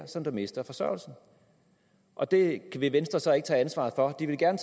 som mister forsørgelsen og det vil venstre så ikke tage ansvaret for de ville gerne